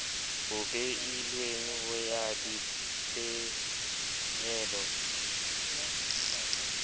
o beilweng ho fa dipehelo